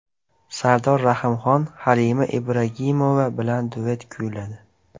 Sardor Rahimxon Halima Ibragimova bilan duet kuyladi.